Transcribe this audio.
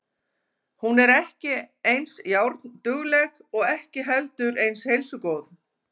En hún er ekki eins járndugleg og ekki heldur eins heilsugóð.